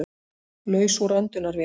Laus úr öndunarvél